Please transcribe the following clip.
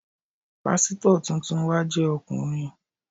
Pásítọ̀ tuntun wa jẹ́ ọkùnrin.